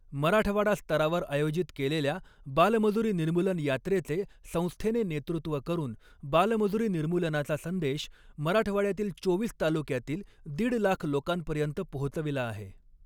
मराठवाडा स्तरावर आयोजित केलेल्या बालमजूरी निर्मूलन यात्रेचे संस्थेने नेतॄत्व करून बालमजूरी निर्मूलनाचा संदेश मराठवाड्यातील चोवीस तालुक्यांतील दिड लाख लोकांपर्यंत पोहचविला आहे.